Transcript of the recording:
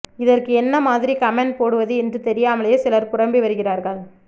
இதற்கு என்ன மாதிரி கமெண்ட் போடுவது என்று தெரியாமலேயே சிலர் புலம்பி வருகிறார்கள்